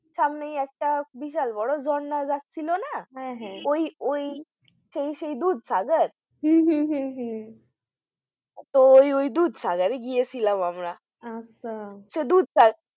সামনেই একটা বিশাল বড়ো ঝর্ণা ছিল না হ্যাঁ হ্যাঁ ওই ওই সেই সেই দুধসাগর হম হম হম তো ওই দুধসাগরে এ গিয়েছিলাম আমরা আচ্ছা